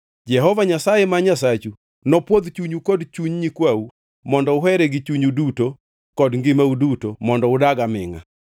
Jehova Nyasaye ma Nyasachu nopwodh chunyu kod chuny nyikwau mondo uhere gi chunyu duto kod ngimau duto mondo udagi amingʼa.